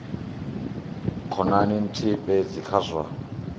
khonani nthihi fhedzi kha zwa